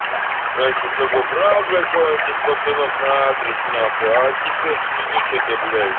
раньше с собой брать кого-нибудь из пацанов на адрес нахуй теперь в пизду что-то блядь